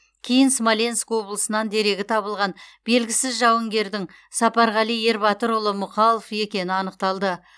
кейін смоленк облысынан дерегі табылған белгісіз жауынгердің сапарғали ербатырұлы мұқалов екені анықталды